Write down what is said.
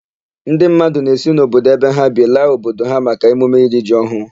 Ndị mmadụ na-esi obodo ebe ha bi laa obodo ha maka emume iri ji ọhụụ.